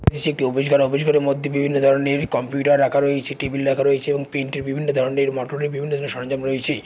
নিচে একটি অফিস ঘর অফিস ঘরের মধ্যে বিভিন্ন ধরনের কম্পিউটার রাখা রয়েছে টেবিল রাখা রয়েছে এবং পেইন্ট এর বিভিন্ন ধরনের মটর এর বিভিন্ন সরঞ্জাম রয়েছে ।